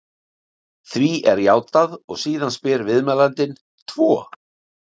Því er játað og síðan spyr viðmælandinn: Tvo?